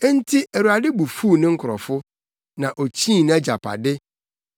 Enti Awurade bo fuw ne nkurɔfo; na okyii nʼagyapade.